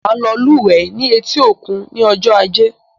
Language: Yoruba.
Màá lọ lúwẹ̀ẹ́ ní etí-òkun ní ọjọ́ Ajé.